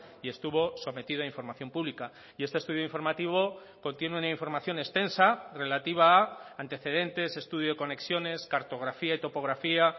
y estuvo sometido a información pública y este estudio informativo contiene una información extensa relativa a antecedentes estudio de conexiones cartografía y topografía